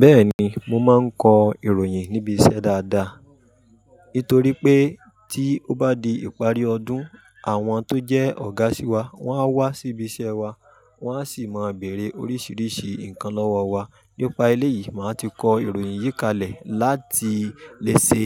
Bẹ́ẹ̀ni, mo máa ń kọ ìròyìn níbi iṣẹ́ dáadáa. Nítorí pé tí ó bá di ìparí ọdún, àwọn tó jẹ́ ọ̀gá sí won á wá síbi iṣẹ́ wa, wọ́n á sì máa bèèrè oríṣiríṣi nǹkan lọ́wọ́ wa. Nípa eleyìí, màá ti kọ ìròyìn yí kalẹ̀ láti lè ṣe